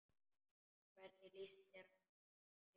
Og hvernig lýsti það sér?